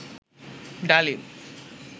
ডালিম